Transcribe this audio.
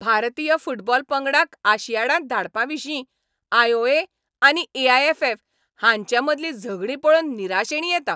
भारतीय फुटबॉल पंगडाक आशियाडांत धाडपाविशीं आय. ओ. ए. आनी ए. आय. ऍफ. ऍफ. हांचे मदलीं झगडीं पळोवन निराशेणी येता.